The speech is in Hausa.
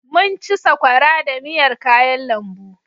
Mun ci sakwara da miyar kayan lambu.